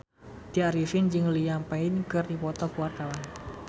Tya Arifin jeung Liam Payne keur dipoto ku wartawan